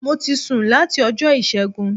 Mo ti sùn láti Ọjọ́ Ìṣẹ́gun